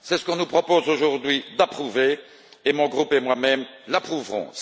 C'est ce qu'on nous propose aujourd'hui d'approuver et mon groupe et moi même l'approuverons.